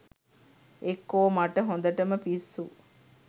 එක්කෝ මට හොඳටම පිස්සු